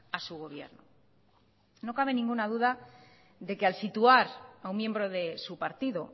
a su gobierno no cabe ninguna duda de que al situar a un miembro de su partido